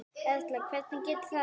Erla: Hverjir gætu það verið?